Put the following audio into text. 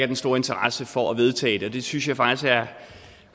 den store interesse for at vedtage det det synes jeg faktisk er